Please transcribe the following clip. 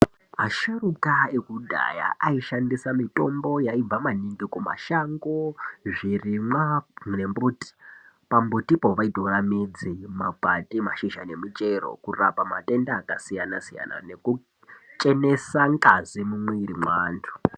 Asharuka ekudhaya ayishandisa mitombo yaibva maningi kumashango zvirimwa nembuti pambutipo vaitora midzi makwati ,mashizha nemichero kurapa matenda akasiyana siyana nekuchenesa ngazi mumwiri mweandu.